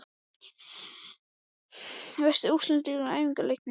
Veistu úrslit úr æfingaleikjum?